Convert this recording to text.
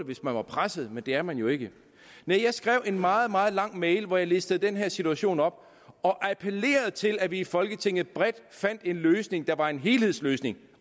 hvis man var presset men det er man jo ikke næh jeg skrev en meget meget lang mail hvor jeg listede den her situation op og appellerede til at vi i folketinget bredt fandt en løsning der var en helhedsløsning